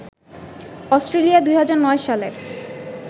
Australia ২০০৯ সালের